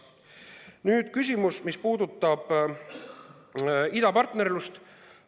Nüüd küsimus, mis puudutab idapartnerlust.